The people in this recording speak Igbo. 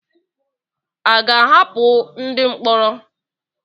À ga-ahapụ ndị mkpọrọ?